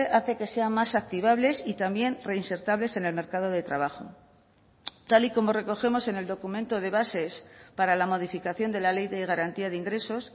hace que sea más activables y también reinsertables en el mercado de trabajo tal y como recogemos en el documento de bases para la modificación de la ley de garantía de ingresos